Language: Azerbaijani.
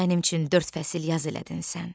Mənim üçün dörd fəsil yaz elədin sən.